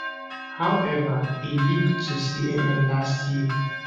however e leak to cnn last year